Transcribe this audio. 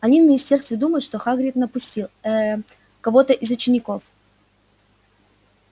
они в министерстве думают что хагрид напустил ээ кого-то на учеников